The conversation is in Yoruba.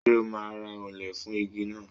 Ṣé o máa ra òǹlẹ̀ fún igi náà.